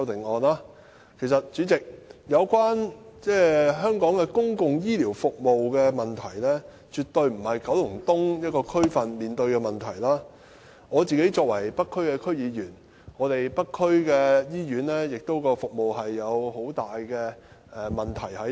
代理主席，有關香港公共醫療服務的問題，絕對不是九龍東一個區所面對的問題，作為北區區議員，我認為北區醫院的服務亦存在很大問題。